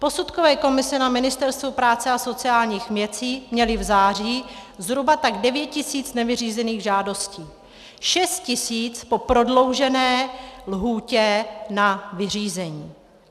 Posudkové komise na Ministerstvu práce a sociálních věcí měly v září zhruba tak 9 000 nevyřízených žádostí, 6 000 po prodloužené lhůtě na vyřízení.